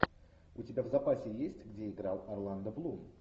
у тебя в запасе есть где играл орландо блум